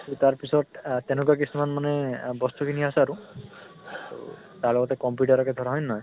ত তাৰ পিছত তেনুকা কিছুমান মানে আ বস্তু খিনি আছে আৰু ত তাৰ লগতে computer কে ধৰা হয় নে নহয়?